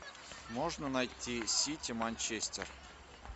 можно найти сити манчестер